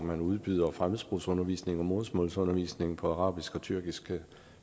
man udbyder fremmedsprogsundervisning og modersmålsundervisning på arabisk og tyrkisk